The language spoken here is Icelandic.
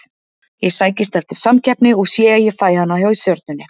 Ég sækist eftir samkeppni og sé að ég fæ hana hjá Stjörnunni.